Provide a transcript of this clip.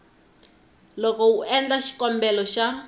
loko u endla xikombelo xa